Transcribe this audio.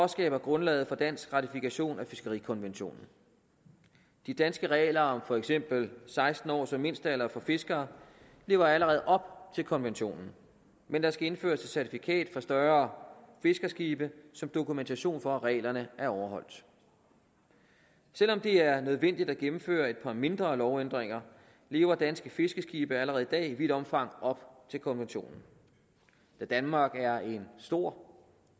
skaber et grundlag for dansk ratifikation af fiskerikonventionen de danske regler om for eksempel seksten år som mindstealder for fiskere lever allerede op til konventionen men der skal indføres et certifikat for større fiskerskibe som dokumentation for at reglerne er overholdt selv om det er nødvendigt at gennemføre et par mindre lovændringer lever danske fiskerskibe allerede i dag i vidt omfang op til konventionen da danmark er en stor